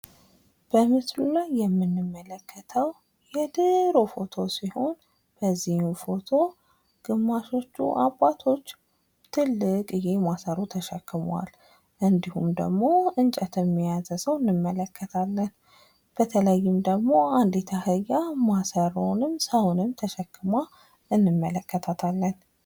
በሚስቱ ላይ የምንመለከተው የድሮ ፎቶ ሲሆን በዚህም ፎቶ ግማሾቹ አባቶች ትልቅዬ ማሠሮ ተሸክመዋል። እንዲሁም ደግሞ እንጨትም የያዘ ሰው አንመለከታለን። በተለይም ደግሞ አንዲት አህያ ማሰሮውንም ሰውንም ተሸክማ እንመለከታለን።